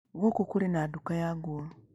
Gũkũ kũrĩ na nduka ya nguo.